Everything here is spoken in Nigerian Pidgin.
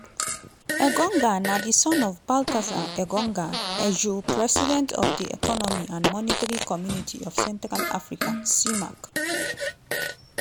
engonga na di son of baltasar engonga edjoo president of di economic and monetary community of central africa (cemac).